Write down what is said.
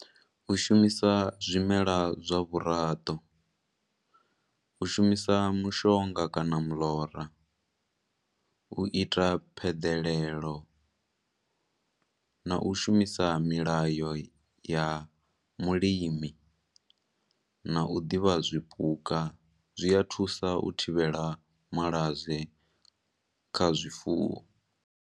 U shumisa zwimela zwa vhuraḓo. U shumisa mushonga kana miḽora, u ita pheḓelelo, na u shumisa milayo ya mulimi, na u ḓivha zwipuka, zwi a thusa u thivhela malwadze kha zwifuwo.